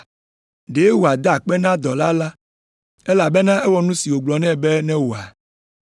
Ɖe wòada akpe na dɔla la, elabena ewɔ nu si wògblɔ nɛ be newɔa?